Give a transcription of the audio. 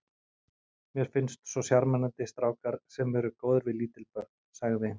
Mér finnst svo sjarmerandi strákar sem eru góðir við lítil börn sagði